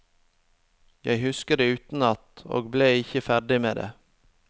Jeg husket det utenat, og ble ikke ferdig med det.